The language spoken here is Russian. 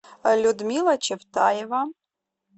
людмила чевтаева